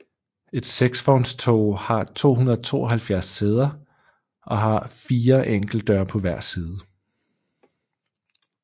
Et seksvognstog har 272 sæder og har fore enkeltdøre på hver side